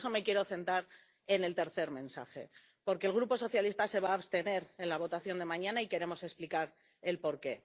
Y por eso me quiero centrar en el tercer mensaje. Porque el Grupo socialista se va a abstener en la votación de mañana y queremos explicar el porqué.